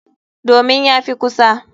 Domin ya fi kusa.